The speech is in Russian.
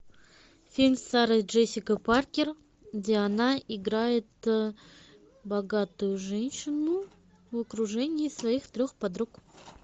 фильм с сарой джессикой паркер где она играет богатую женщину в окружении своих трех подруг